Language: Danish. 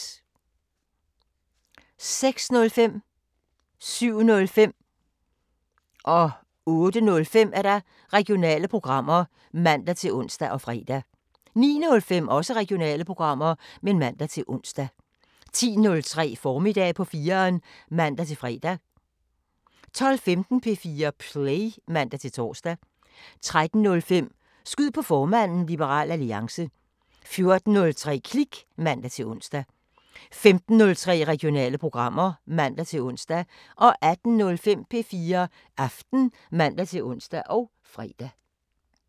06:05: Regionale programmer (man-ons og fre) 07:05: Regionale programmer (man-ons og fre) 08:05: Regionale programmer (man-ons og fre) 09:05: Regionale programmer (man-ons) 10:03: Formiddag på 4'eren (man-fre) 12:15: P4 Play (man-tor) 13:05: Skyd på formanden: Liberal Alliance 14:03: Klik (man-ons) 15:03: Regionale programmer (man-ons) 18:05: P4 Aften (man-ons og fre)